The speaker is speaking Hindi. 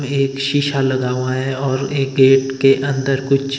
ये एक शीशा लगा हुआ है और एक गेट के अंदर कुछ--